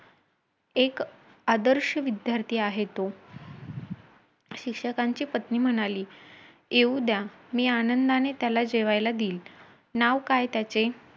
एक आदर्श विद्यार्थी आहे तो. शिक्षकाची पत्नी म्हणाली येऊ द्या, मी त्याला आनंदानी जेवायला देईल. नाव काय त्याचे?